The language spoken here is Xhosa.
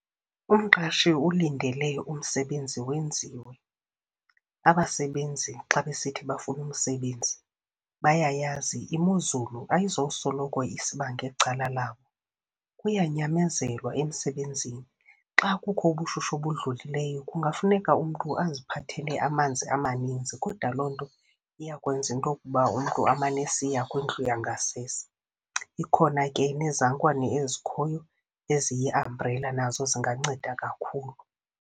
Umqashi ulindele umsebenzi wenziwe. Abasebenzi xa besithi bafuna umsebenzi, bayayazi imozulu ayizosoloko isiba ngecala labo. Kuyanyamezelwa emsebenzini. Xa kukho ubushushu obudlulileyo kungafuneka umntu aziphathelele amanzi amaninzi, kodwa loo nto iya kwenza into yokuba umntu amane esiya kwindlu yangasese. Ikhona ke nezankwane ezikhoyo, eziyi-umbrella nazo zinganceda kakhulu.